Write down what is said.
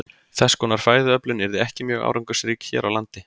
Þess konar fæðuöflun yrði ekki mjög árangursrík hér á landi.